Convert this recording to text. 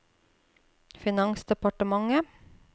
finansdepartementet